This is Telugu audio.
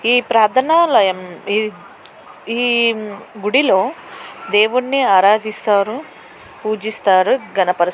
ఈ ప్రార్థన ఆలయంలో గుడిలో దేవుని ప్రార్థిస్తారు. పూజిస్తారు. ఘనపరుస్తారు.